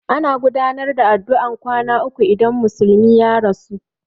Ana gudanar da addu'ar kwana uku idan musulmi ya rasu.